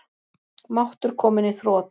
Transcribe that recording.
Máttur kominn í þrot